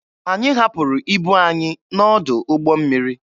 Anyị hapụrụ ibu anyị n'ọdụ ụgbọ mmiri.